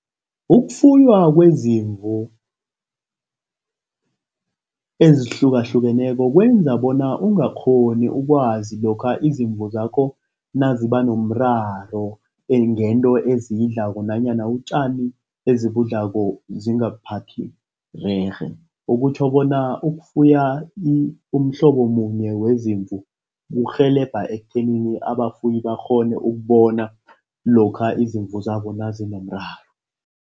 Ukufuywa kwezimvu ezihlukahlukeneko kwenza bona ungakghoni ukwazi lokha izimvu zakho naziba nomraro ngento eziyidlako nanyana utjani ezibudlako zingabuphathi rerhe, okutjho bona ukufuya umhlobo munye wezimvu kurhelebha ekuthenini abafuyi bakghone ukubona lokha izimvu zabo nazinomraro.